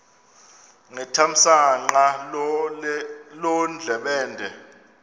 ngethamsanqa loo ndlebende